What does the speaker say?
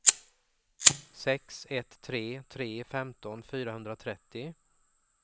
sex ett tre tre femton fyrahundratrettio